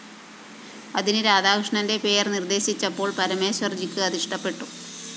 അതിന് രാധാകൃഷ്ണന്റെ പേര്‍ നിര്‍ദ്ദേശിച്ചപ്പോള്‍ പരമേശ്വര്‍ജിക്ക് അതിഷ്ടപ്പെട്ടു